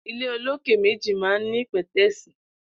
Ilé ólóké méji mà n ni pẹtẹẹsi